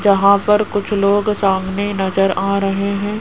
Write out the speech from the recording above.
जहां पर कुछ लोग सामने नजर आ रहे हैं।